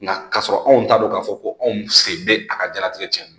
Nka k'a sɔrɔ anw t'a dɔn k'a fɔ ko anw sen bɛ a ka diɲɛnatigɛ cɛn na